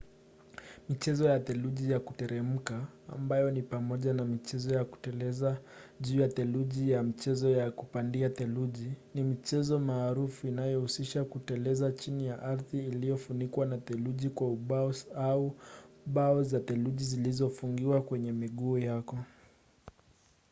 michezo ya theluji ya kuteremka ambayo ni pamoja na mchezo wa kuteleza juu ya theluji na mchezo wa kupanda theluji ni michezo maarufu inayohusisha kuteleza chini ya ardhi iliyofunikwa na theluji kwa ubaos au bao za theluji zilizofungiwa kwenye miguu yako